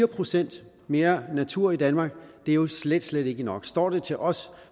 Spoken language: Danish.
procent mere natur i danmark det er jo slet slet ikke nok står det til os